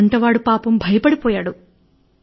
వంటవాడు పాపం భయపడిపోయాడు